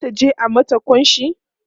zata je a mata kunshi